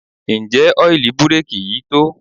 Ǹjẹ́ ọ́ìlì búréèkì yìí tó?